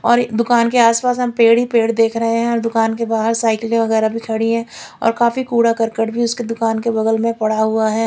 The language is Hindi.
और एक दूकान के आस पास हम पेड़ ही पेड़ देख रहे है और दूकान के बाहर साइकिले वगेरा भी खड़ी है और काफी कूड़ा करकट भी उसके दूकान के बगल में पडा हुआ है।